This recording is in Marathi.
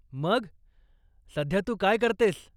मग, सध्या तू काय करतेयस?